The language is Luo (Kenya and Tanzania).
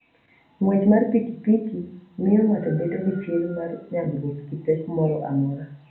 Ng'wech mar pikipiki miyo ng'ato bedo gi chir mar nyagruok gi pek moro amora.